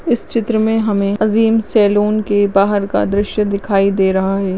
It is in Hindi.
इस चित्र में हमें अजीम सैलून के बाहर का दृश्य दिखाई दे रहा है।